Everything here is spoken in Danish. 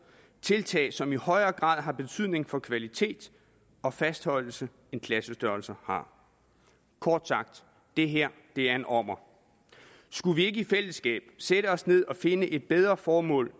tiltag som i højere grad har betydning for kvalitet og fastholdelse end klassestørrelser har kort sagt det her er en ommer skulle vi ikke i fællesskab sætte os ned og finde et bedre formål